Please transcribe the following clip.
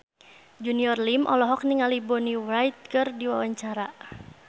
Junior Liem olohok ningali Bonnie Wright keur diwawancara